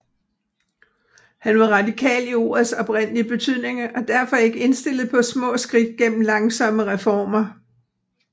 Han var radikal i ordets oprindelige betydning og derfor ikke indstillet på små skridt gennem langsomme reformer